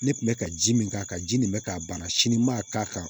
Ne kun bɛ ka ji min k'a kan ji nin bɛ k'a ban sini n ma k'a kan